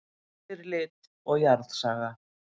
Yfirlit og jarðsaga.